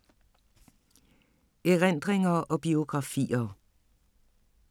Erindringer og biografier